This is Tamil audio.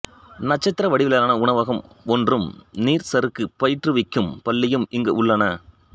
நட்சத்திர வடிவிலான உணவகம் ஒன்றும் நீர்ச்சறுக்கு பயிற்றுவிக்கும் பள்ளியும் இங்கு உள்ளன